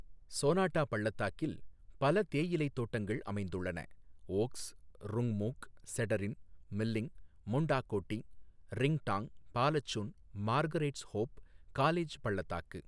சோனாட்டா பள்ளத்தாக்கில் பல தேயிலை தோட்டங்கள் அமைந்துள்ளன ஓக்ஸ், ருங்மூக், செடரின், மில்லிங், Mundakotee, Ringtong, Balasun, Margaret's Hope, College பள்ளத்தாக்கு.